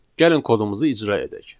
Gəlin kodumuzu icra edək.